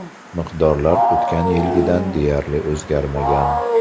Miqdorlar o‘tgan yilgidan deyarli o‘zgarmagan.